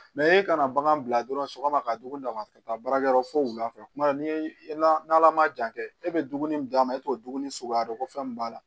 i kana bagan bila dɔrɔn sɔgɔma ka dugu dama ka taa baarakɛyɔrɔ fo wulafɛ kuma dɔw la ni ala ma jan kɛ e bɛ dumuni min d'a ma e t'o dumuni suguya dɔn ko fɛn min b'a la